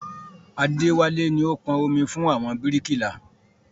Adéwálé ni ó pọn omi fún àwọn bíríkìlà